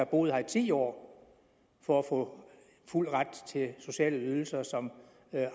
boet her i ti år for at få fuld ret til sociale ydelser som